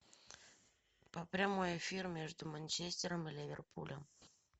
прямой эфир между манчестером и ливерпулем